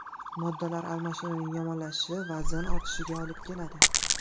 Moddalar almashinuvining yomonlashishi vazn ortishishiga olib keladi.